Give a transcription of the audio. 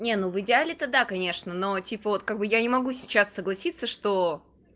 нет ну в идеале тогда конечно но типа вот как бы я не могу сейчас согласится что